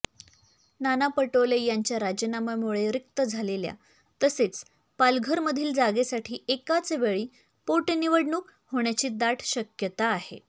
नाना पटोले यांच्या राजीनाम्यामुळे रिक्त झालेल्या तसेच पालघरमधील जागेसाठी एकाचवेळी पोटनिवडणूक होण्याची दाट शक्यता आहे